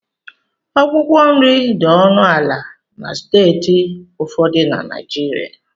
Akwụkwọ nri dị ọnụ ala na steeti ụfọdụ na Naịjirịa